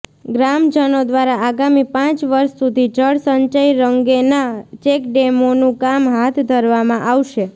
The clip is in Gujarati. ગ્રામજનો દ્વારા આગામી પાંચ વર્ષ સુધી જળ સંચય અંગેના ચેકડેમોનું કામ હાથ ધરવામાં આવશે